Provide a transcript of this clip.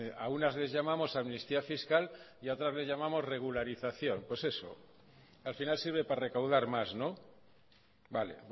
a unas les llamamos amnistía fiscal y a otras les llamamos regularización por eso al final sirve para recaudar más vale